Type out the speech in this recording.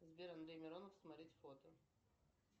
сбер андрей миронов смотреть фото